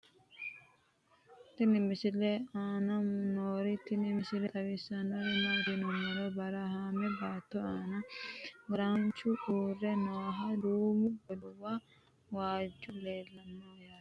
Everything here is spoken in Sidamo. tenne misile aana noorina tini misile xawissannori maati yinummoro barahaamme baatto aanna garaanchu uure noohu duummu godowa waajju leelanno yaatte